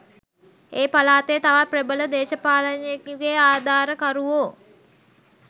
ඒ පළාතේ තවත් ප්‍රබල දේශපාලනඥයෙකුගේ ආධාරකරුවෝ